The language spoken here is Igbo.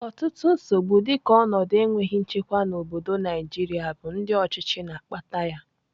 Ọtụtụ nsogbu dịka ọnọdụ enweghị nchekwa n'obodo Naijiria bụ ndị ọchịchị na-akpata yam